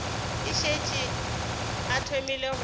a šetše a thomile go